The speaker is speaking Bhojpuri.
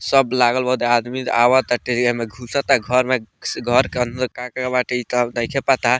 सब लागल बादे आदमी आवताटे एहे में घुसता घर में घर के अंदर का-का बाटे ई तो नइखे पता।